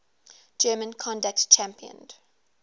german conductor championed